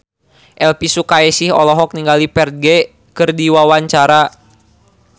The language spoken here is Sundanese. Elvi Sukaesih olohok ningali Ferdge keur diwawancara